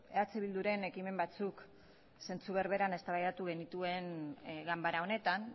eh bilduren ekimen batzuk zentzu berberan eztabaidatu genituen ganbara honetan